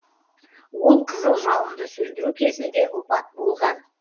ол қызыл жалынды сөндіру кезінде опат болған